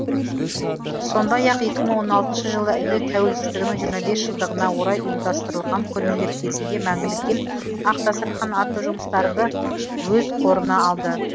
сондай ақ екі мың он алтыншы жылы ел тәуелсіздігінің жиырма бес жылдығына орай ұйымдастырылған көрмелер кезінде мәңгілік ел ақ дастархан атты жұмыстарымды өз қорына алды